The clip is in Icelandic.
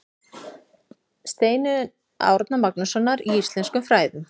Stofnun Árna Magnússonar í íslenskum fræðum í Reykjavík.